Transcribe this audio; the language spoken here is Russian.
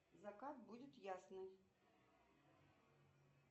закат будет ясный